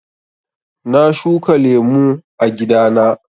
Na shuka lemu a gida na.